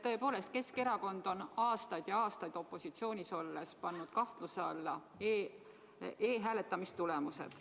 Tõepoolest, Keskerakond on aastaid ja aastaid opositsioonis olles pannud kahtluse alla e-hääletamise tulemused.